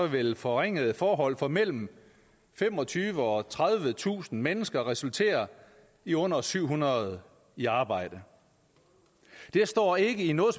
vil forringede forhold for mellem femogtyvetusind og tredivetusind mennesker resultere i under syv hundrede i arbejde det står ikke i noget